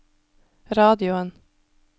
radioen